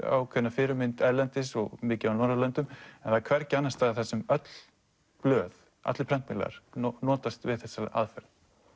ákveðna fyrirmynd erlendis og mikið á Norðurlöndum en það er hvergi annars staðar sem öll blöð allir prentmiðlar notast við þessa aðferð